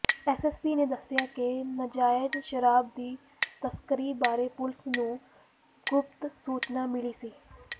SSP ਨੇ ਦੱਸਿਆ ਕਿ ਨਾਜਾਇਜ਼ ਸ਼ਰਾਬ ਦੀ ਤਸਕਰੀ ਬਾਰੇ ਪੁਲੀਸ ਨੂੰ ਗੁਪਤ ਸੂਚਨਾ ਮਿਲੀ ਸੀ